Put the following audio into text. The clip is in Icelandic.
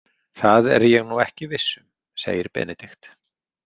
Það er ég nú ekki viss um, segir Benedikt.